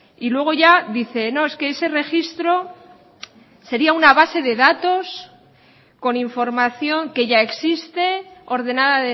y luego ya dice no es que ese registro sería una base de datos con información que ya existe ordenada